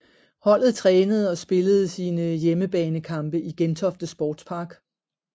Holdet trænede og spillede sine hjemmebanekampe i Gentofte Sportspark